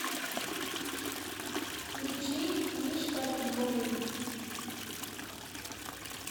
включи мишка виновен